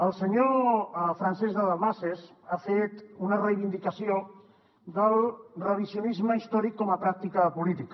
el senyor francesc de dalmases ha fet una reivindicació del revisionisme històric com a pràctica política